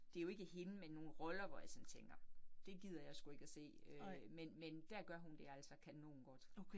Det jo ikke hende, men nogle roller, hvor jeg sådan tænker. Det gider jeg sgu ikke at se øh, men men dér gør hun det altså kanongodt